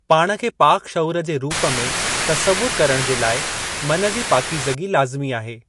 पाण खे पाक शऊर जे रूप में तस्सवुरु करणु जे लाइ मन जी पाकीज़गी लाज़िमी आहे।